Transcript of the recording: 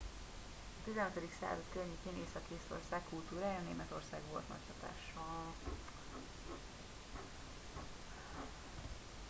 a 15. század környékén észak észtország kultúrájára németország volt nagy hatással